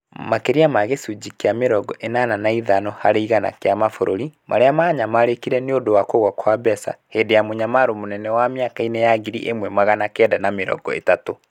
Makĩria ma gĩcunjĩ kia mĩrongo ĩnana na ithano harĩ igana kĩa mabũrũri marĩa maanyamarĩkire nĩ ũndũ wa kugũa kwa mbeca hĩndĩ ya Mũnyamaro Mũnene wa mĩaka-inĩ ya ngiri ĩmwe magana kenda ma mĩrongo ĩtatũ.